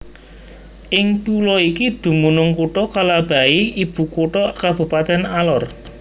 Ing pulo iki dumunung Kutha Kalabahi ibukutha Kabupatèn Alor